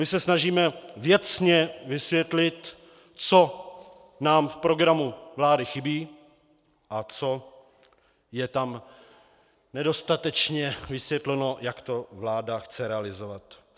My se snažíme věcně vysvětlit, co nám v programu vlády chybí a co je tam nedostatečně vysvětleno, jak to vláda chce realizovat.